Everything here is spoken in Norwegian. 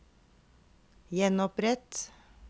gjenopprett